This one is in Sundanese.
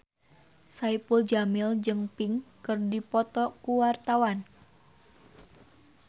Saipul Jamil jeung Pink keur dipoto ku wartawan